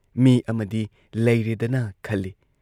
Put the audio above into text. ꯃꯤ ꯑꯃꯗꯤ ꯂꯩꯔꯦꯗꯅ ꯈꯜꯂꯤ ꯫